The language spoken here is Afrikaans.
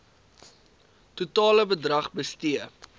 totale bedrag bestee